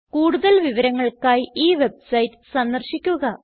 കൂടുതൽ വിവരങ്ങൾക്കായി ഈ വെബ്സൈറ്റ് സന്ദർശിക്കുക